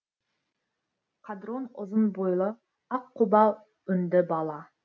қадрон ұзын бойлы аққұба өңді бала